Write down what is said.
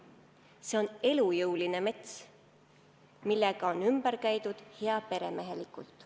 See on elujõuline mets, millega on ümber käidud heaperemehelikult.